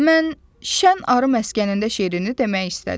Mən Şən arı məskənində şeirini demək istədim.